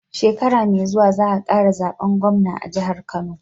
Shekara me zuwa za a kara zaben gwamna a jihar kano